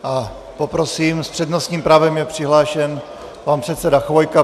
A poprosím, s přednostním právem je přihlášen pan předseda Chvojka.